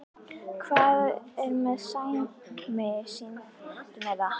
Hvað ertu með Sæmi, sýndu mér það!